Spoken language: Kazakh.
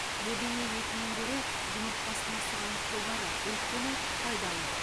бөдене етінен гөрі жұмыртқасына сұраныс жоғары өйткені пайдалы